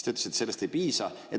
Te ütlesite, et sellest ei piisa.